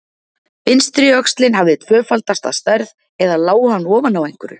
Vinstri öxlin hafði tvöfaldast að stærð, eða lá hann ofan á einhverju?